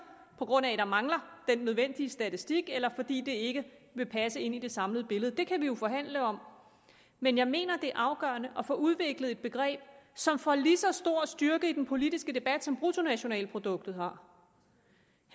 på grund af at der mangler den nødvendige statistik eller fordi det ikke vil passe ind i det samlede billede det kan vi jo forhandle om men jeg mener at det er afgørende at få udviklet et begreb som får lige så stor styrke i den politiske debat som bruttonationalproduktet har herre